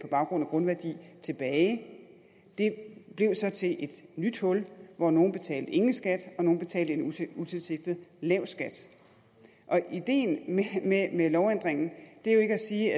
baggrund af grundværdi tilbage det blev så til et nyt hul hvor nogle betalte ingen skat og nogle betalte en utilsigtet lav skat og ideen med lovændringen er jo ikke at sige